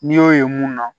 N'i y'o ye mun na